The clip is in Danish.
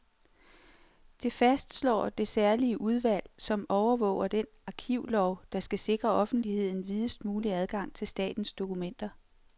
Det fastslår det særlige udvalg, som overvåger den arkivlov, der skal sikre offentligheden videst mulig adgang til statens dokumenter.